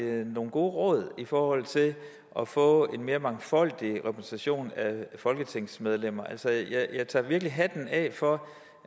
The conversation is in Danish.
nogle gode råd i forhold til at få en mere mangfoldig repræsentation af folketingsmedlemmer altså jeg tager virkelig hatten af for